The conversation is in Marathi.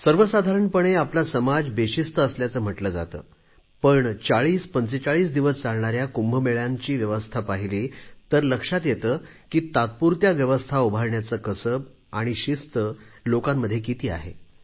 सर्वसाधारणपणे आपला समाज बेशिस्त असल्याचे म्हटले जाते पण 4045 दिवस चालणाऱ्या कुंभ मेळ्यांची व्यवस्था पाहिली तर लक्षात येते की तात्पुरत्या व्यवस्था उभारण्याचे कसब आणि किती शिस्त लोकांमध्ये आहे